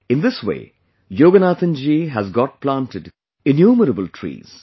In this way, Yoganathanji has got planted of innumerable trees